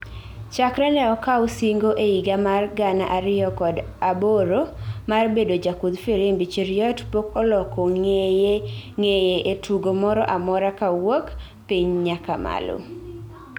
chakre ne okaw singo e higa ma gana ariyokod aboro mar bedo jakudh firimbi Cheruiyot pok oloko ngeye ne tugo moro a mora kaowuok piny nyaka malo